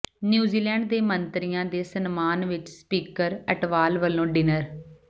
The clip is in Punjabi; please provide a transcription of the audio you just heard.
ਨਿਊਜ਼ੀਲੈਂਡ ਦੇ ਮੰਤਰੀਆਂ ਦੇ ਸਨਮਾਨ ਚ ਸਪੀਕਰ ਅਟਵਾਲ ਵਲੋਂ ਡਿਨਰ